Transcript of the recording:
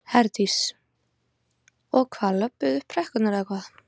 Herdís: Og hvað, löbbuðu þið upp brekkurnar eða hvað?